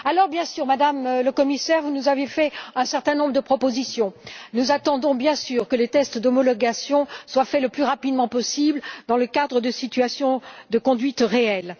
Bien sûr, Madame la Commissaire, vous nous avez fait un certain nombre de propositions, nous attendons bien sûr que les tests d'homologation soient faits le plus rapidement possible dans le cadre de situations de conduite réelles.